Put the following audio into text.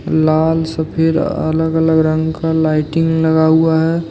लाल सफेद अलग अलग रंग का लाइटिंग लगा हुआ है।